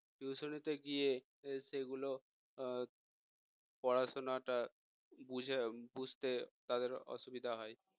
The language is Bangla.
tution এ গিয়ে সেগুলো পড়াশুনাটা বুঝ~ বুঝতে তাদের অসুবিধা হয়